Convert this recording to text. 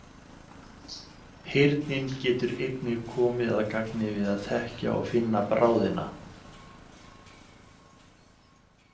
Heyrnin getur einnig komið að gagni við að þekkja og finna bráðina.